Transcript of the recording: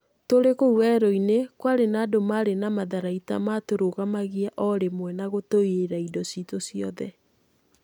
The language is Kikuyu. Tũrĩ kũu werũ-inĩ, kwarĩ na andũ marĩ na matharaita matũrũgamagia ũrimwe na gũtũiĩra indo citũ ciothe.